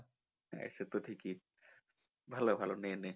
সেত ঠিকই ভালো ভালো নে নে